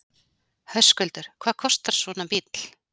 Höskuldur: Hvað kostar svona bíll?